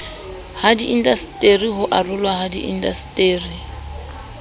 hadiindaseteri ho arolwa ha diindaseteri